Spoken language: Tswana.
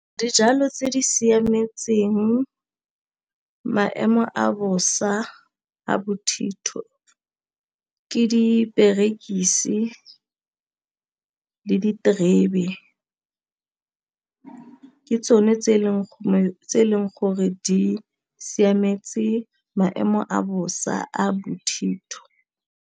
Dijalo tse di siametseng maemo a bosa a bothitho ke diperekisi le diterebe ke tsone tse e leng gore di siametse maemo a bosa a bothitho.